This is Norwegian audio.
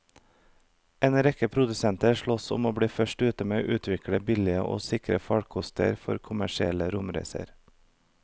En rekke produsenter sloss om å bli først ute med å utvikle billige og sikre farkoster for kommersielle romreiser.